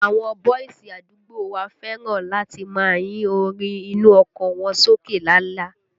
Àwọn bọ́ìsì àdúgbò wa fẹ́ràn láti máa yín orin inú ọkọ̀ wọn sókè lala